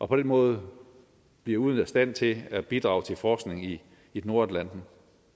på den måde bliver ude af stand til at bidrage til forskning i i nordatlanten